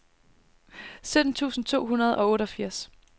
sytten tusind to hundrede og otteogfirs